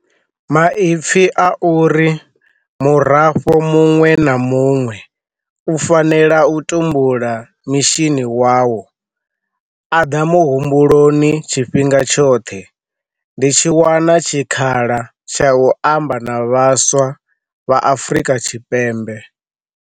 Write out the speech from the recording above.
Maipfi a uri murafho muṅwe na muṅwe u fanela u tumbula mishini wawoa ḓa muhumbu-loni tshifhinga tshoṱhe ndi tshi wana tshikhala tsha u amba na vhaswa vha Afrika Tshipembe.